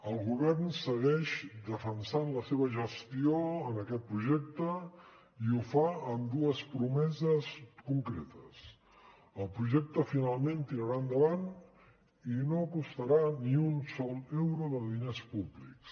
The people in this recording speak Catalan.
el govern segueix defensant la seva gestió en aquest projecte i ho fa amb dues promeses concretes el projecte finalment tirarà endavant i no costarà ni un sol euro de diners públics